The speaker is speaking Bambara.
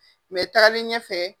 taali ɲɛ fɛ.